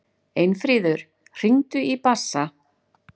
Einfríður, hringdu í Bassa.